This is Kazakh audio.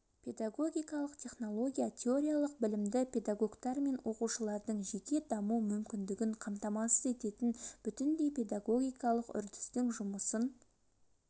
педагогикалық технология теориялық білімді педагогтар мен оқушылардың жеке даму мүмкіндігін қамтамасыз ететін бүтіндей педагогикалық үрдістің жұмысын